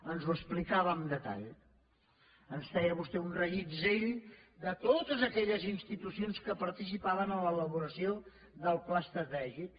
ens ho explicava en detall ens feia vostè un reguitzell de totes aquelles institucions que participaven en l’elaboració del pla estratègic